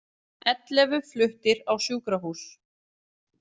Ellefu fluttir á sjúkrahús